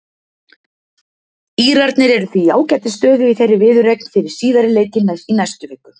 Írarnir eru því í ágætis stöðu í þeirri viðureign fyrir síðari leikinn í næstu viku.